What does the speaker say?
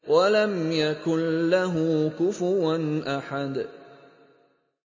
وَلَمْ يَكُن لَّهُ كُفُوًا أَحَدٌ